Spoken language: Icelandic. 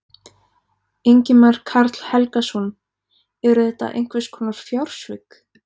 Ingimar Karl Helgason: Eru þetta einhvers konar fjársvik?